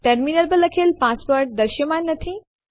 terminal પર લખેલ password દૃશ્યમાન નથી